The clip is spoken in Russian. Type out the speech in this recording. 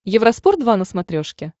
евроспорт два на смотрешке